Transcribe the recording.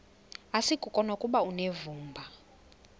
asikuko nokuba unevumba